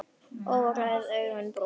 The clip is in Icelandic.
Óræð augun brún.